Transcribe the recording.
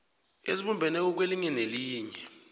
ezibumbeneko kwelinye nelinye